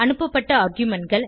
அனுப்பப்பட்ட argumentகள்